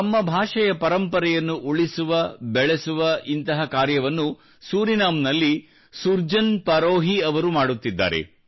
ತಮ್ಮ ಭಾಷೆಯ ಪರಂಪರೆಯನ್ನು ಉಳಿಸುವ ಬೆಳೆಸುವ ಇಂತಹ ಕಾರ್ಯವನ್ನು ಸೂರಿನಾಮ್ ನಲ್ಲಿ ಸುರ್ಜನ್ ಪರೋಹೀ ಅವರು ಮಾಡುತ್ತಿದ್ದಾರೆ